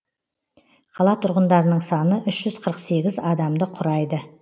қала тұрғындарының саны үш жүз қырық сегіз адамды құрайды